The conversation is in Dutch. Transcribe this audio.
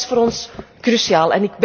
Dat is voor ons cruciaal.